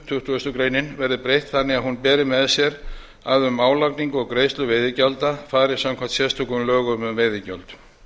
tuttugustu greinar verði breytt þannig að hún beri með sér að um álagningu og greiðslu veiðigjalda fari samkvæmt sérstökum lögum um veiðigjöld